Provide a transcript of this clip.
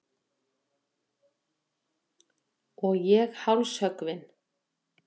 Og ég hálshöggvin.